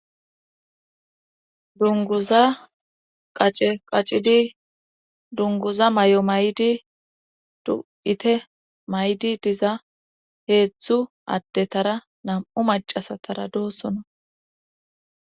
dunguza qace qacidi dunguza may7o may7di du7ite maydi diza heethzhthu addetara namu macasatara doossona